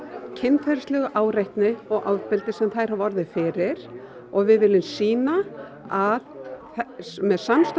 kynferðislegri áreitni og ofbeldi sem þær hafa orðið fyrir og við viljum sýna að með samstöðu